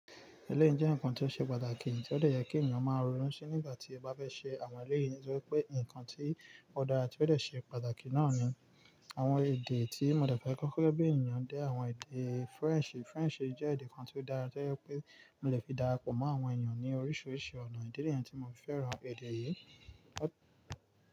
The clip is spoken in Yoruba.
Eleyi jẹ́ ǹkan tí ó ṣe pàtàkì tí ó yẹ kí ènìyàn máa ronú sí nígbà tí ó bá fẹ́ ṣe àwọn eléyìí torí pé ǹkan tí ó dára tí ó dẹ̀ ṣe pàtàkì náà ni àwọn èdè tí mo dẹ̀ fẹ́ kọ́kọ́ gbé ènìyàn dé àwọn èdè French. French jẹ́ èdè kan tí ó dára torí pé mo lè fi darapọ̀ mọ́ àwọn ènìyàn ní oríṣiríṣi ọ̀nà. Ìdí nìyẹn tí mo fẹ́ràn èdè yìí.